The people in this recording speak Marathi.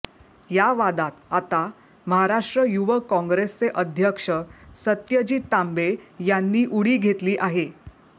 या वादात आता महाराष्ट्र युवक काँग्रेसचे अध्यक्ष सत्यजीत तांबे यांनी उडी घेतली आहे